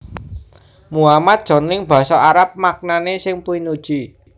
Muhammad jroning basa Arab maknané sing pinuji